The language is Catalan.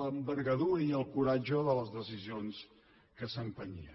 l’envergadura i el coratge de les decisions que s’empenyien